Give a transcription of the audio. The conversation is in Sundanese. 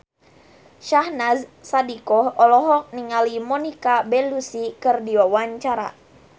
Syahnaz Sadiqah olohok ningali Monica Belluci keur diwawancara